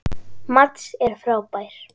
Mads er frábær.